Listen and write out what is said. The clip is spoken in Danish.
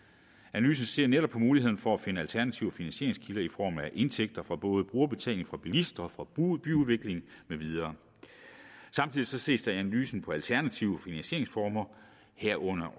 analysen ser netop på muligheden for at finde alternative finansieringskilder i form af indtægter fra både brugerbetaling fra bilister og fra byudvikling med videre samtidig ses der i analysen på alternative finansieringsformer herunder